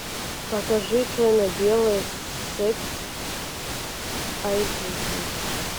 покажи черно белое секс айч ди